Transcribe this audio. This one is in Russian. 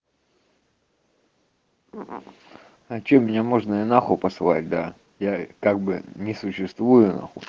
а что меня можно и на хуй посылать да я как бы не существую на хуй